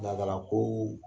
Laadala ko.